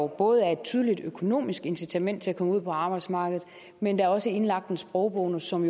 både er et tydeligt økonomisk incitament til at komme ud på arbejdsmarkedet men også indlagt en sprogbonus som